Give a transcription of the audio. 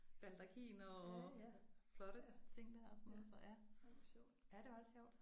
Baldakiner og flotte ting der og sådan noget så ja ja det var lidt sjovt